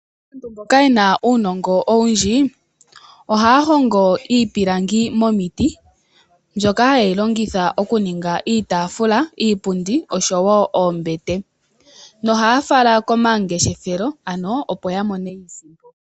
Aantu mboka yena uunongo owundji ohaya hongo iipilangi momiti, mbyoka hayi longithwa okuninga iipundi, iitaafula noshowo oombete nohaya fala komangeshefelo opo yamone iisimpo.